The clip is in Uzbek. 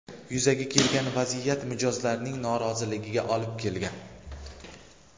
Yuzaga kelgan vaziyat mijozlarning noroziligiga olib kelgan.